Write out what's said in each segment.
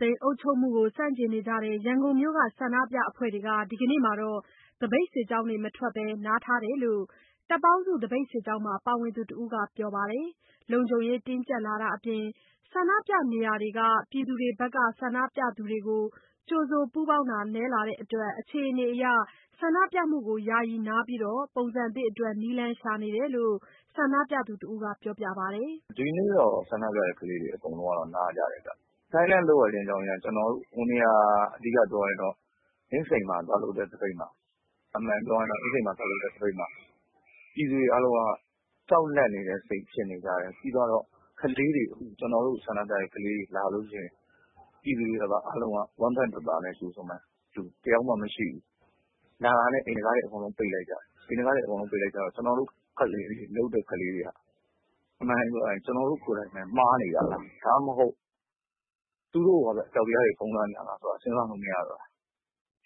သိမ်း အုပ်ချုပ်မှုကို ဆန့်ကျင်နေကြတဲ့ ရန်ကုန်မြို့က ဆန္ဒပြအဖွဲ့တွေ ဒီနေ့မှာတော့ သပိတ်စစ်ကြောင်းတွေ မထွက်ဘဲ နားထားတယ်လို့ တပ်ပေါင်းစု သပိတ်စစ်ကြောင်းမှာ ပါဝင်သူတစ်ဦးက ပြောပါတယ်။ လုံခြုံရေးတင်းကြပ်လာတာအပြင် ဆန္ဒပြနေရာတွေက ပြည်သူတွေဘက်က ဆန္ဒပြသူတွေကို ကြိုဆိုပူးပေါင်းတာ နည်းလာတဲ့အတွက် အခြေအနေအရ ဆန္ဒပြမှုကို ယာယီနားပြီး ပုံစံသစ်အတွက် နည်းလမ်းရှာနေတယ်လို့ ဆန္ဒပြသူတယောက်က ပြောပါတယ်။ “ဒီနေ့တော့ ဆန္ဒပြစစ်ကြောင်းတွေ နားကြတယ်ဗျ။ Silence လုပ်ရတဲ့ အကြောင်းရင်းက ဟိုနေ့က ကျနော်တို့ အင်းစိန်မှာ သွားလုပ်ကြတဲ့ သပိတ်မှာ ပြည်သူတွေအားလုံးက ကြောက်လန့်နေတဲ့စိတ်ဖြစ်နေကြတယ်။ နောက်တခုက ကျနော်တို့ ဆန္ဒပြတဲ့ကလေးတွေ လာလို့ရှိရင် ပြည်သူတွေက ဝမ်းပန်းတသာနဲ့ ကြိုမယ့်သူ တယောက်မှမရှိဘူး။ လာတာနဲ့ အိမ်တခါးတွေအကုန်လုံး ပိတ်လိုက်ကြတယ်။ ပိတ်လိုက်ကြတော့ ကျနော်တို့ကလေးတွေက အမှန်တိုင်းပြောရရင် ကျနော်တို့ကိုယ်တိုင်ပဲ မှားနေတာလား၊ ဒါမှမဟုတ် သူတို့ကိုယ်တိုင်ကပဲ အကြောက်တရားတွေ ဖုံးလွှမ်းနေတာလား စဉ်းစားလို့ မရတော့ဘူး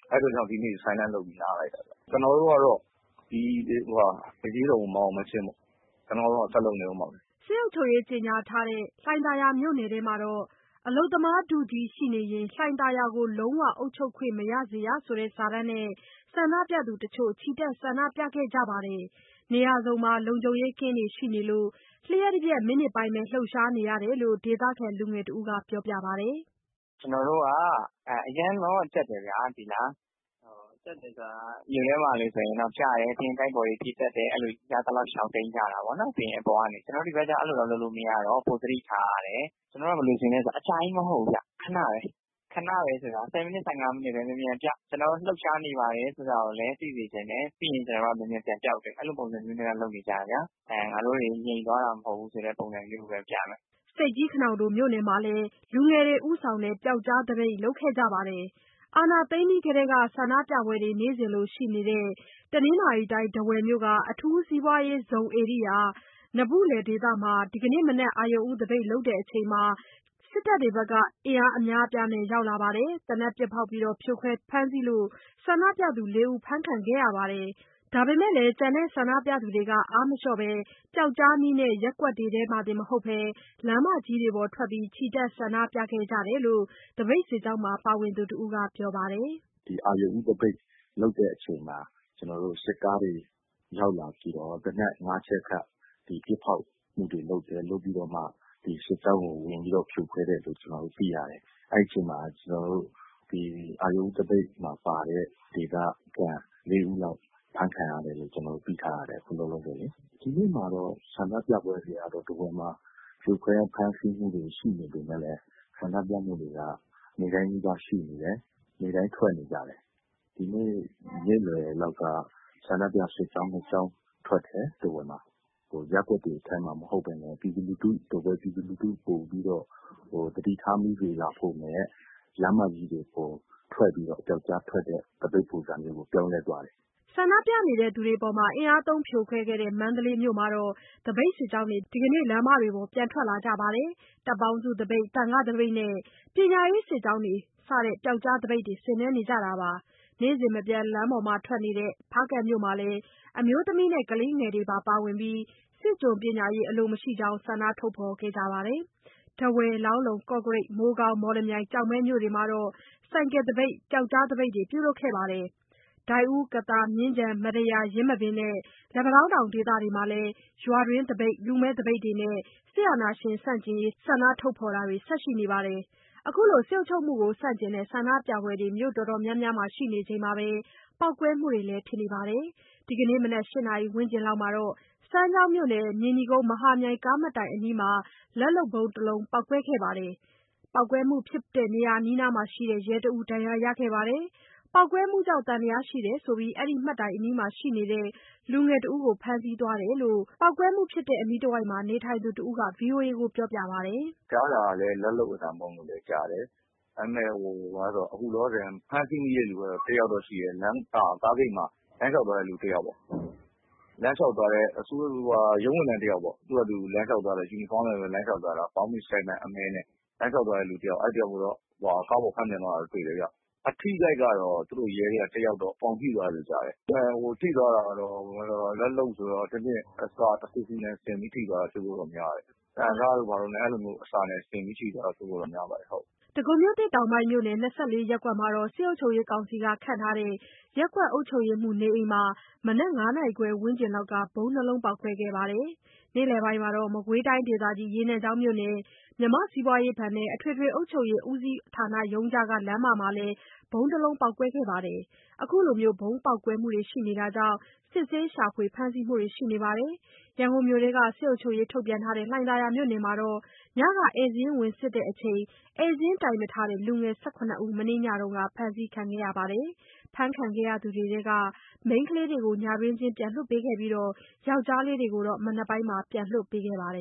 ။ အဲ့ဒီအတွက်ကြောင့် ဒီနေ့ Silence လုပ်နားလိုက်တယ်။ ကျနော်တို့ကတော့ ဒီအရေးတော်ပုံ မအောင်မချင်း ကျနော်တို့က ဆက်လုပ်နေအုံးမှာပဲ။" စစ်အုပ်ချုပ်ရေးကြေညာထားတဲ့ လှိုင်သာယာမြို့နယ်ထဲမှာတော့ 'အလုပ်သမားထုကြီးရှိနေရင် လှိုင်သာယာကို လုံးဝ အုပ်ချုပ်ခွင့်မရစေရ' ဆိုတဲ့စာတန်းနဲ့ ဆန္ဒပြသူတချို့ ချီတက် ဆန္ဒပြခဲ့ကြပါတယ်။ နေရာစုံမှာ လုံခြုံရေးကင်းတွေ ရှိနေလို့ လ ျှပ်တပြက် မိနစ်ပိုင်းပဲ လှုပ်ရှားနေရတယ်လို့ ဒေသခံလူငယ်တစ်ဦးက ပြောပါတယ်။ “ကျနော်တို့က အရမ်းလည်း ကြပ်တယ်ဗျာ သိလား။ ကြပ်တယ်ဆိုတာ မြို့ထဲမှာလိုဆိုရင် ပြတယ် ပြီးရင် တိုက်ပေါ်တွေ ပြေးတယ်။ အဲ့ဒီလို ရသလောက်ရှောင်တိမ်းကြတာပေါ့နော်။ ကျနော်တို့ ဒီဘက်ကျတော့ အဲ့ဒီလို လုပ်လို့မရတော့ ပိုသတိထားရတယ်၊ ကျနော်တို့ ဘယ်လိုအခြေအနေလဲဆိုတော့ အကြာကြီးမဟုတ်ဘူးဗျ။ ခဏပဲ.... ခဏပဲဆိုတာ ၁၀ မိနစ်၊ ၁၅ မိနစ်ပဲ မြန်မြန်ပြ ကျနော်တို့ လှုပ်ရှားနေပါတယ်ဆိုတာကိုလည်း သိစေချင်တယ်။ ပြီးရင် ကျနော်တို့ မြန်မြန်ပြန်ပျောက်တယ်။ အဲ့ဒီလိုပုံစံမျိုးနဲ့တော့ လုပ်နေကြတယ်ဗျာ။ ငါတို့တွေ ငြိမ်သွားတာ မဟုတ်ဘူးဆိုတဲ့ ပုံစံမျိုးပဲပြမယ်။” ဆိတ်ကြီး-ခနောင်တိုမြို့နယ်မှာလည်း လူငယ်တွေ ဦးဆောင်တဲ့ ပျောက်ကြားသပိတ် လုပ်ခဲ့ကြပါတယ်။ စစ်အာဏာသိမ်းပြီးထဲက ဆန္ဒပြပွဲတွေ နေ့စဉ်လိုလိုရှိတဲ့ တနင်္သာရီတိုင်း တားဝယ်မြို့က အထူးစီးပွားရေးဇုန်ဧရိယာ နဘုလယ်ဒေသမှာ ဒီနေ့မနက် အရုဏ်ဦးသပိတ်လုပ်ချိန်မှာ စစ်တပ်တွေ အင်အားအများအပြားနဲ့ ရောက်လာပြီး သေနတ်ပစ်ဖောက်ဖြိုခွဲ ဖမ်းဆီးလို့ ဆန္ဒပြသူ ၄ ယောက်ဖမ်းခံခဲ့ရပါတယ်။ ဒါပေမဲ့ ကျန်တဲ့ဆန္ဒပြသူတွေက အားမလျော့ဘဲ ပျောက်ကြားနည်းနဲ့ ရပ်ကွက်တွေထဲမှာတင် မဟုတ်ဘဲ လမ်းမကြီးတွေပေါ် ထွက်ပြီး ချီတက်ဆန္ဒပြခဲ့ကြတယ်လို့ သပိတ်စစ်ကြောင်းမှာ ပါဝင်သူတစ်ဦးက ပြောပါတယ်။ “ဒီအရုဏ်ဦးသပိတ် လုပ်တဲ့အချိန်မှာ စစ်ကားတွေ ရောက်လာပြီးတော့ သေနတ် ငါးချက်ခန့် ဒီပစ်ဖောက်မှုတွေ လုပ်တယ်။ လုပ်ပြီးတော့မှ ဒီစစ်ကြောင်းကို ဝင်ပြီးတော့ ဖြိုခွဲတယ်လို့ ကျနော်တို့ သိရတယ်။ အဲ့ချိန်မှာ ကျနော်တို့ ဒီအရုဏ်ဦးသပိတ်မှာပါတဲ့ ဒေသခံ ၄ ဦးလောက် အဖမ်းခံရတယ်လို့ ကျနော်တို့ သိထားရတယ် အခုလောလောဆယ်လေ။ ဒီနေ့မှာတော့ ဆန္ဒပြပွဲတွေက ထားဝယ်မှာ ဖြိုခွဲဖမ်းဆီးမှုတွေ ရှိနေပေမယ့်လည်း ဆန္ဒပြမှုတွေက ဒီနေ့တိုင်းနီးပါးရှိနေတယ်။ ဒီနေ့တိုင်းထွက်နေ ကြတယ်။ ဒီနေ့ နေ့လယ်လောက်က ဆန္ဒပြစစ်ကြောင်း နှစ်ကြောင်းထွက်တယ်။ ထားဝယ်မှာ ရပ်ကွက်တွေထဲမှာ မဟုတ်ဘဲနဲ့ ပြည်သူလူထု ထားဝယ်ပြည်သူလူထု ပိုပြီးတော့ သတိထားမိစေလောက်ဖို့နဲ့ လမ်းမကြီးတွေပေါ်ထွက်ပြီးတော့ ပျောက်ကြားထွက်တဲ့ သပိတ်ပုံစံမျိုးကို ပြောင်းလဲသွားတယ်။” ဆန္ဒပြသူတွေအပေါ် အင်အားသုံးဖြိုခွဲခဲ့တဲ့ မန္တလေးမြို့မှာတော့ သပိတ်စစ်ကြောင်းတွေ ဒီနေ့ လမ်းပေါ်ပြန်ထွက်လာကြပါတယ်။ တပ်ပေါင်းစုသပိတ်၊ သံဃာ့သပိတ်နဲ့ ပညာရေးစစ်ကြောင်းတွေ ပျောက်ကြားသပိတ်ဆင်နွှဲကြတာပါ။ နေ့စဉ်မပြတ်လမ်းပေါ်ထွက်နေတဲ့ ဖားကန့်မြို့မှာလည်း အမျိုးသမီးနဲ့ ကလေးငယ်တွေပါဝင်ပြီး စစ်ကျွန်ပညာရေး အလိုမရှိကြောင်း ဆန္ဒထုတ်ဖော်ကြပါတယ်။ ထားဝယ်၊ လောင်းလုံ၊ ကော့ကရိတ်၊ မိုးကောင်း၊ မော်လမြိုင်၊ ကျောက်မဲမြို့တွေမှာ ဆိုင်ကယ်သပိတ်၊ ပျောက်ကြားသပိတ်တွေပြုလုပ်ကြတာအပြင် ဒိုက်ဦး၊ ကသာ၊ မြင်းခြံ၊ မတ္တရာ၊ ယင်းမာပင်နဲ့ လက်ပံတောင်းတောင်ဒေသတွေမှာ ရွာတွင်းသပိတ်၊ လူမဲ့သပိတ်တွေနဲ့ စစ်အာဏာရှင်ဆန့်ကျင်ရေး ဆန္ဒထုတ်ဖော်တာတွေ ဆက်ရှိနေပါတယ်။ ခုလို စစ်အုပ်ချုပ်မှုဆန့်ကျင်တဲ့ ဆန္ဒပြပွဲတွေ မြို့တော်တော်များများမှာ ရှိနေချိန်မှာပဲ ပေါက်ကွဲမှုတွေလည်း ဖြစ်နေပါတယ်။ ဒီနေ့မနက် ၈ နာရီဝန်းကျင်မှာ စမ်းချောင်းမြို့နယ် မြေနီကုန်း မဟာမြိုင် ကားမှတ်တိုင်အနီးမှာလည်း လက်လုပ်ဗုံးတစ်လုံးပေါက်ကွဲခဲ့ပြီး ပေါက်ကွဲမှုဖြစ်တဲ့နေရာအနီးမှာ ရှိနေတဲ့ ရဲတစ်ဦး ဒဏ်ရာရခဲ့ပါတယ်။ ပေါက်ကွဲမှုအတွက် သံသယရှိတယ်ဆိုပြီး အဲ့ဒီမှတ်တိုင် အနီးမှာရှိနေတဲ့ လူငယ်တစ်ဦးကို ဖမ်းဆီးသွားတယ်လို့ ပေါက်ကွဲမှုဖြစ်တဲ့ အနီးတဝိုက်မှာ နေထိုင်သူတစ်ဦးက ဗွီအိုအေကို ပြောပြပါတယ်။ “ကြားတာက လက်လုပ်အသံဗုံးလို့ ကြားတယ်။ ဒါပေမဲ့ ခုလောလောဆယ် ဖမ်းဆီးမိတဲ့သူကတော့ တစ်ယောက်တော့ရှိတယ်။ ကားဂိတ်မှာ လမ်းလျှောက်သွားတဲ့သူတစ်ယောက်ပေါ့။ ရုံးဝန်ထမ်းတစ်ယောက်ပေါ့၊ ဘောင်းဘီအမည်း၊ ရှပ်နဲ့ သူ့ဟာသူ လမ်းလျှောက်သွားတဲ့တစ်ယောက် သူကိုတော့ ကားပေါ် ဖမ်းတင်သွားတာတွေ့တယ်ဗျ။ အထိအခိုက်ကတော့ သူတို့ရဲထဲက တစ်ယောက်တော့ ပေါင်ထိသွားတယ်လို့ ကြားတယ်။ ထိသွားတာကတော့ လက်လုပ်ဗုံးဆိုတော့ အစတစ်ခုခု စင်ပြီးတော့ ထိသွားတာဖြစ်ဖို့တော့ များတယ်။ သံစတို့ဘာတို့ပေါ့။ အဲ့ဒီလို အစမျိုးနဲ့ စင်ပြီးတော့ ထိသွားတာဖြစ်ဖို့များပါတယ်။" တောင်ဒဂုံ ၂၄ ရပ်ကွက်မှာ စစ်ကောင်စီက ခန့်ထားတဲ့ ရပ်ကွက်အုပ်ချုပ်ရေးမှူး နေအိမ်မှာလည်း မနက် ၅ နာရီခွဲဝန်းကျင်က ဗုံးနှစ်လုံး ပေါက်ကွဲခဲ့ပါတယ်။ နေ့လယ်ပိုင်းမှာ မကွေးတိုင်းဒေသကြီး ရေနံချောင်းမြို့နယ် မြန်မာစီးပွားရေးဘဏ်နဲ့ အထွေထွေ အုပ်ချုပ်ရေးဦးစီးဌာနရုံးကြားက လမ်းမမှာလည်း ဗုံးတစ်လုံးပေါက်ကွဲခဲ့ပါတယ်။ ခုလို ဗုံးပေါက်ကွဲမှုတွေကြောင့် စစ်ဆေး ရှာဖွေ ဖမ်းဆီးမှုတွေလည်း ရှိနေပါတယ်။ ရန်ကုန်မြို့ထဲက စစ်အုပ်ချုပ်ရေး ထုတ်ပြန်ထားတဲ့ လှိုင်သာယာမြို့နယ်မှာ ညက ဧည့်စာရင်း ဝင်စစ်ချိန် ဧည့်စာရင်း တိုင်မထားတဲ့ လူငယ် ၁၇ ဦး မနေ့ညက ဖမ်းဆီးခံရပါတယ်။ ဖမ်းခံရသူတွေထဲက မိန်းကလေးတွေကို ညတွင်းချင်း ပြန်လွှတ်ပေးပြီး ယောက်ျားလေးတွေကိုတော့ မနက်မှာ ပြန်လွှတ်ပေးခဲ့ပါတယ်